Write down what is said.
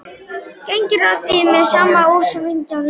Gengur að því með sama ósveigjanleika.